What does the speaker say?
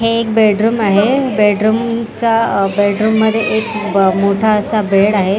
हे एक बेडरूम आहे बेडरूम चा अह बेडरूम मध्ये एक ब मोठा असा बेड आहे.